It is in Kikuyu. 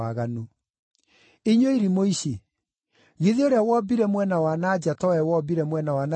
Inyuĩ irimũ ici! Githĩ ũrĩa wombire mwena wa na nja to we wombire mwena wa na thĩinĩ?